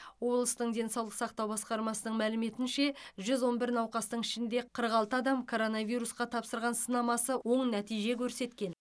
облыстың денсаулық сақтау басқармасының мәліметінше жүз он бір науқастың ішінде қырық алты адам коронавирусқа тапсырған сынамасы оң нәтиже көрсеткен